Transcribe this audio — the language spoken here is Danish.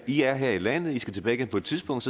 de er her i landet de skal tilbage igen på et tidspunkt